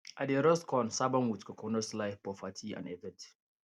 i dey roast corn serve am with coconut slice for party and event